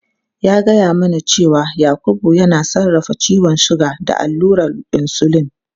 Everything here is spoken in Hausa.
Ya gaya mana cewa Yakubu yana sarrafa ciwon suga da allurar insulin.